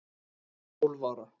Ég var tólf ára